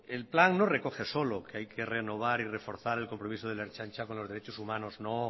el plan no recoge solo que hay que renovar y reforzar el compromiso de la ertzaintza con los derechos humanos no